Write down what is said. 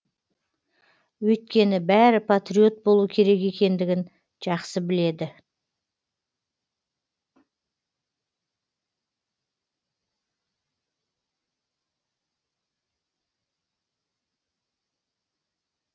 өйткені бәрі патриот болу керек екендігін жақсы біледі